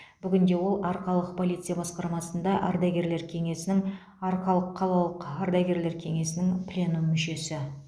бүгінде ол арқалық полиция басқармасында ардагерлер кеңесінің арқалық қалалық ардагерлер кеңесінің пленум мүшесі